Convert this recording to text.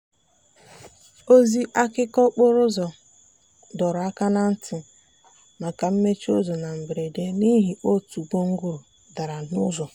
ozi akụkọ okporo ụzọ dọrọ aka na ntị maka mmechi ụzọ na mberede n'ihi otu gwongworo dara n'ụzọ.